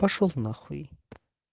пошёл на хуй